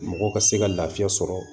Mɔgɔ ka se ka lafiya sɔrɔ